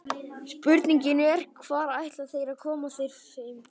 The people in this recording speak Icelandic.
Spurningin er, hvar ætla þeir að koma þeim fyrir?